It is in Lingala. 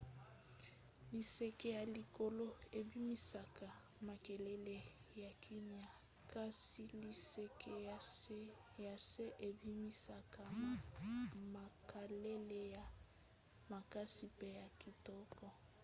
liseke ya likolo ebimisaka makelele ya kimia kasi liseke ya se ebimisaka makalele ya makasi pe ya kitoko